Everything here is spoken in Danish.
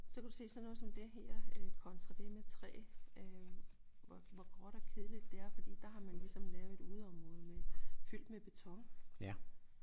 Så kan du se sådan noget som det her øh kontra det med træ øh hvor gråt og kedeligt det er fordi der har man ligesom lavet et udeområde med fyldt med beton